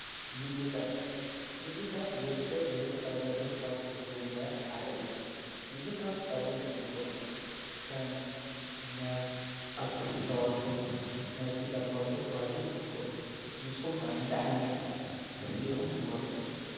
ምጊብታት ምጊብታት ወዲ ሰብ ብሕወት ካብ ነብር ካብ ዚኅግዝዎ ነገራት ሓደ እዮም ምግብታት ኣብ ዙኅ ይምቀሉ ከም ናይ ኣትክልቲ ተዋጸ ናይ ሢጋ ተዋጸወ ተዋሂሎም ይኽፈሉ ንስኹምከ እንተ ዓይነት ክፍልየኹም ትመርጹ።